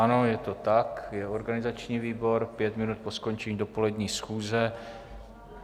Ano, je to tak, je organizační výbor, pět minut po skončení dopolední schůze.